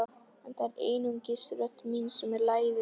En það er einungis rödd mín sem er lævís.